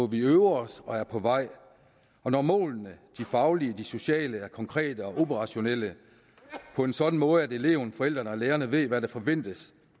vi øver os og er på vej når målene de faglige og sociale er konkrete og operationelle på en sådan måde at eleven forældrene og lærerne ved hvad der forventes